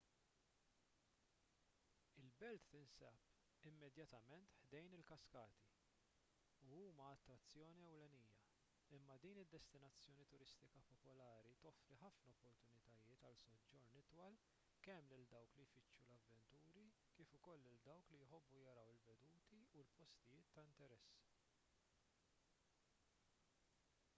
il-belt tinsab immedjatament ħdejn il-kaskati u huma l-attrazzjoni ewlenija imma din id-destinazzjoni turistika popolari toffri ħafna opportunitajiet għal soġġorn itwal kemm lil dawk li jfittxu l-avventuri kif ukoll lil dawk li jħobbu jaraw il-veduti u l-postijiet ta' interess